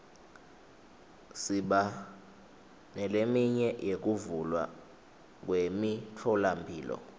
siba neleminye yekuvulwa kwemitfolamphilo